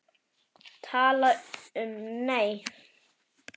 Tala um, nei!